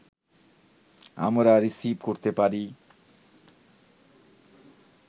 আমরা রিসিব করতে পারি